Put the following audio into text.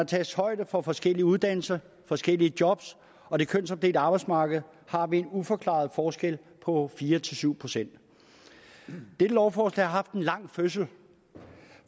tages højde for forskellige uddannelser forskellige jobs og det kønsopdelte arbejdsmarked har vi en uforklaret forskel på fire syv procent dette lovforslag har haft en lang fødsel